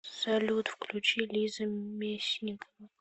салют включи лиза мисникова